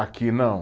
Aqui não.